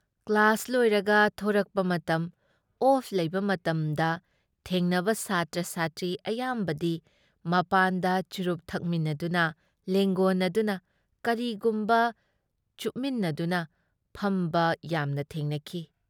Class ꯂꯣꯏꯔꯒ ꯊꯣꯔꯛꯄ ꯃꯇꯝ, ꯑꯣꯐ ꯂꯩꯕ ꯃꯇꯝꯗ ꯊꯦꯡꯅꯕ ꯁꯥꯇ꯭ꯔ-ꯁꯥꯇ꯭ꯔꯤ ꯑꯌꯥꯝꯕꯗꯤ ꯃꯄꯥꯟꯗ ꯆꯨꯔꯨꯞ ꯊꯛꯃꯤꯟꯅꯗꯨꯅ ꯂꯦꯡꯒꯣꯟꯅꯗꯨꯅ ꯀꯔꯤꯒꯨꯝꯕ ꯆꯨꯞꯃꯤꯟꯅꯗꯨꯅ ꯐꯝꯕ ꯌꯥꯝꯅ ꯊꯦꯡꯅꯈꯤ꯫